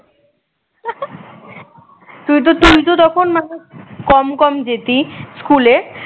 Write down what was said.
তুই তো তুই তো তখন মানে কম কম যেতি স্কুলে